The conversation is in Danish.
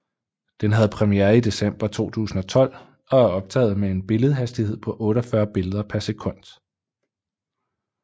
Den havde premiere i december 2012 og er optaget med en billedhastighed på 48 billeder per sekund